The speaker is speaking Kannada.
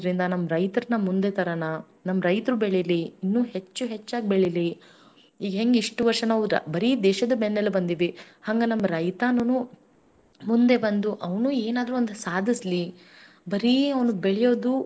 ಅಲ್ಲಿ ಉಣ್ಣೊದು ಅಲ್ಲೇ ನಾಶವಾಗದು ಅಷ್ಟ್ರಲ್ಲೇ ಆಗ್ಬಾರ್ದು, ಆವ್ನುಗೂ ಒಂದು ಸ್ಥಾನನು ನಾವ್ ಕೊಡ್ಬೇಕ್ ಆಗತ್ತೆ ಅದಕ್ ನಾನ್ ನಿಮ್ ಕಡೆಯಿಂದ ಮನ ಏನು ಕಳಕಳಿಯಾಗಿ ವಿನಂತಿ ಮಾಡಿಕೊತೀನ್ರಿ ಎಲ್ಲಾ ಸಸ್ಯ ಪದಾರ್ಥಗಳನ್ನ ಜಾಸ್ತಿ ತಿನ್ರೀ ಸಾಧ್ಯವಾದರೆ ನಿಮ್ಮನೆ.